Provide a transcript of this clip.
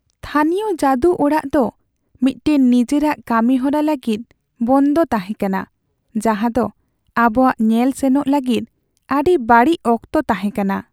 ᱛᱷᱟᱹᱱᱤᱭᱚ ᱡᱟᱹᱫᱩᱚᱲᱟᱜ ᱫᱚ ᱢᱤᱫᱴᱟᱝ ᱱᱤᱡᱮᱨᱟᱜ ᱠᱟᱹᱢᱤᱦᱚᱨᱟ ᱞᱟᱹᱜᱤᱫ ᱵᱚᱱᱫᱚ ᱛᱟᱦᱮᱸ ᱠᱟᱱᱟ, ᱡᱟᱦᱟᱸᱫᱚ ᱟᱵᱚᱣᱟᱜ ᱧᱮᱞ ᱥᱮᱱᱚᱜ ᱞᱟᱹᱜᱤᱫ ᱟᱹᱰᱤ ᱵᱟᱹᱲᱤᱡ ᱚᱠᱛᱚ ᱛᱟᱦᱮᱸ ᱠᱟᱱᱟ ᱾